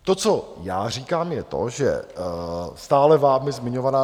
To, co já říkám, je to, že stále vámi zmiňovaná